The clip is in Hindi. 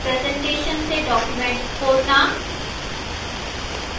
presentation से document खोलना